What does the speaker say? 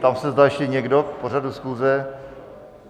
Ptám se, zda ještě někdo k pořadu schůze.